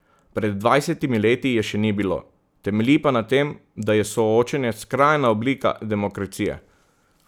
Pred dvajsetimi leti je še ni bilo, temelji pa na tem, da je soočenje skrajna oblika demokracije.